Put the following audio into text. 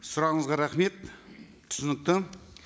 сұрағыңызға рахмет түсінікті